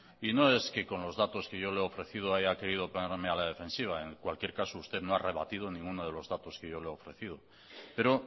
y no es que con los datos que yo le he ofrecido haya querido ponerme a la defensiva en cualquier caso usted no ha rebatido ninguno de los datos que yo le he ofrecido pero